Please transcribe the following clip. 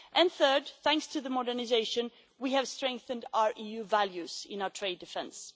Third, thanks to the modernisation, we have strengthened our EU values in our trade defence.